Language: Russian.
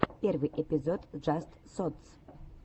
первый эпизод джаст сотс